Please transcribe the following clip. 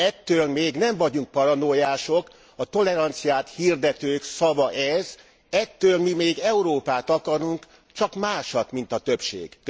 Ettől még nem vagyunk paranoiások, a toleranciát hirdetők szava ez, ettől mi még Európát akarunk, csak másat, mint a többség.